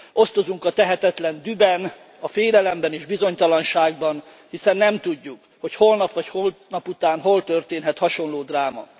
Osztozunk a tehetetlen dühben, a félelemben és bizonytalanságban, hiszen nem tudjuk, hogy holnap vagy holnapután hol történhet hasonló dráma.